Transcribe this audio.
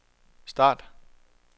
start